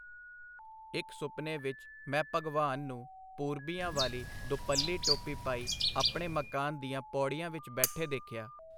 ਇਕ ਸੁਪਨੇ ਵਿਚ ਮੈਂ ਭਗਵਾਨ ਨੂੰ ਪੂਰਬੀਆਂ ਵਾਲੀ ਦੁਪੱਲੀ ਟੋਪੀ ਪਾਈ ਆਪਣੇ ਮਕਾਨ ਦੀਆਂ ਪੌੜੀਆਂ ਵਿੱਚ ਬੈਠੇ ਦੇਖਿਆ.